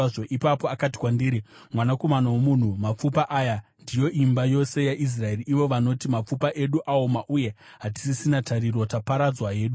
Ipapo akati kwandiri, “Mwanakomana womunhu, mapfupa aya ndiyo imba yose yaIsraeri. Ivo vanoti, ‘Mapfupa edu aoma uye hatisisina tariro; taparadzwa hedu.’